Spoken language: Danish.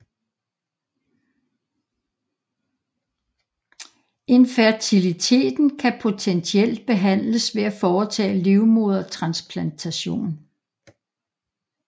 Infertiliteten kan potentielt behandles ved at foretage livmodertransplantation